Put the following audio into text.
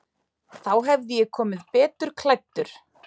Þá hefði ég komið betur klæddur.